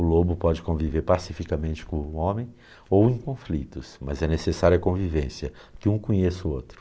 O lobo pode conviver pacificamente com o homem ou em conflitos, mas é necessário a convivência, que um conheça o outro.